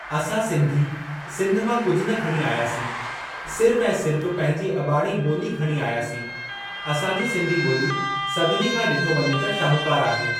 असां सिंधी सिंधु मां कुझु न खणी आयासीं सिर्फ़ु ऐं सिर्फ़ु पंहिंजी अॿाणी ॿोली खणी आयासीं। असांजी सिंधी ॿोली सभिनी खां ॾिठो वञे त शाहुकारु आहे।